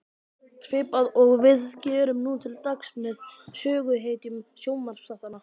Svipað og við gerum nú til dags með söguhetjum sjónvarpsþáttanna.